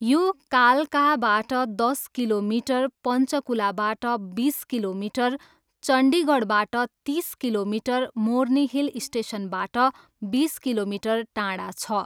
यो कालकाबाट दस किलोमिटर, पञ्चकुलाबाट बिस किलोमिटर, चण्डीगढबाट तिस किलोमिटर, मोर्नी हिल स्टेसनबाट बिस किलोमिटर टाढा छ।